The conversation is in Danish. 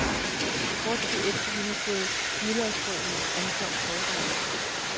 Kort tid efter vi havde fået hvidløgsbrødene, ankom forretterne.